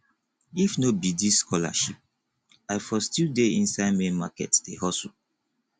if no be dis scholarship i for still dey inside main market dey hustle